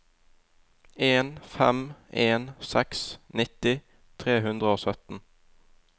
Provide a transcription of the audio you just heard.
en fem en seks nitti tre hundre og sytten